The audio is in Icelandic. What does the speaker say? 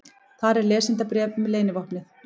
Þar er lesendabréf um leynivopnið.